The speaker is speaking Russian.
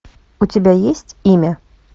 у тебя есть имя